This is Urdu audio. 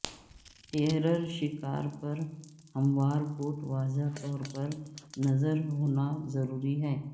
ٹیریر شکار پر ہموار کوٹ واضح طور پر نظر ہونا ضروری ہے